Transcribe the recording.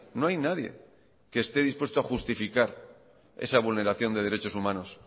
no hay nadie que esté dispuesto a justificar esa vulneración de derechos humanos